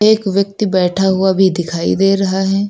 एक व्यक्ति बैठा हुआ भी दिखाई दे रहा है।